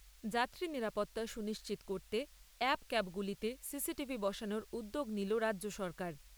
যাত্রী নিরাপত্তা সুনিশ্চিত করতে অ্যাপ ক্যাবগুলিতে সিসিটিভি বসানোর উদ্যোগ নিল রাজ্য সরকার।